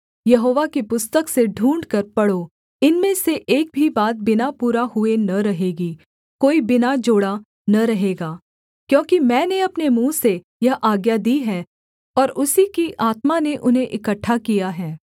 यहोवा की पुस्तक से ढूँढ़कर पढ़ो इनमें से एक भी बात बिना पूरा हुए न रहेगी कोई बिना जोड़ा न रहेगा क्योंकि मैंने अपने मुँह से यह आज्ञा दी है और उसी की आत्मा ने उन्हें इकट्ठा किया है